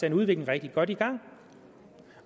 en udvikling rigtig godt i gang